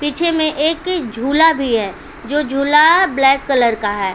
पीछे में एक झूला भी है जो झूला ब्लैक कलर का है ।